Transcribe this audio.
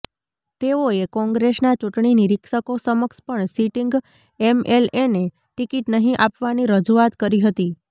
તેઓએ કોંગ્રેસના ચૂંટણી નિરીક્ષકો સમક્ષ પણ સિટીંગ એમએલએને ટિકીટ નહી આપવાની રજુઆત કરી હતી